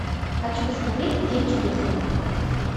хочу посмотреть день чудесный